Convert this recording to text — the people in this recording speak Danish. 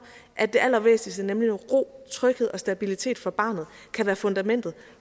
at det allervæsentligste nemlig ro tryghed og stabilitet for barnet kan være fundamentet